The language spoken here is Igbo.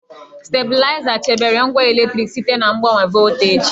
Stabịlaịza chebere ngwa eletriki site na mgbanwe volteji.